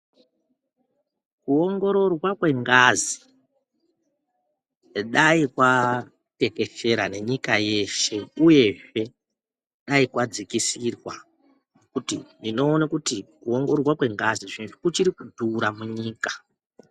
Kuongoroorwa kwengazi dai kwatekeshera nenyika yeshe uyezve dai kwadzikisirwa nekuti ndinoona kuti kuongororwa kwengazi kuchiri kudhura munyika.